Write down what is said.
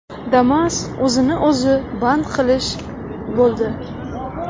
Damas o‘zini o‘zi band qilish bo‘ldi.